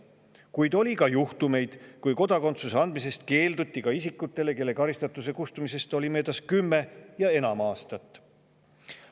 Kuid oli ka juhtumeid, kus kodakondsuse andmisest keelduti isikute puhul, kelle karistatuse kustumisest oli möödas kümme ja enam aastat.